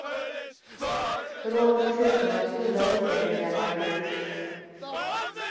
Rånet slutar med att fyra ligamedlemmar grips.